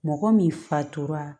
Mɔgɔ min fatura